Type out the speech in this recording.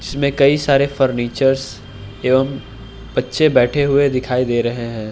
इसमें कई सारे फर्नीचर्स एवं बच्चे बैठे हुए दिखाई दे रहे हैं।